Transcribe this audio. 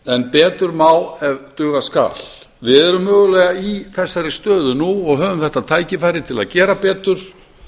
en betur má ef duga skal við erum mögulega í þessari stöðu nú og höfum þetta tækifæri til að gera betur